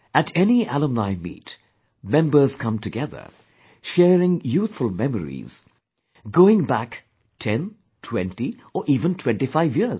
At any Alumni Meet, members come together, sharing youthful memories, going back 10, 20 or even 25 years